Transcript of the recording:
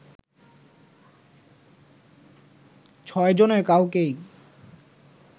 ছয় জনের কাউকেই